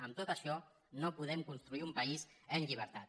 amb tot això no podem construir un país en llibertat